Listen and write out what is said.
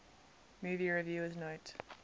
movie reviewers note